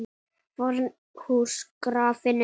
FORN HÚS GRAFIN UPP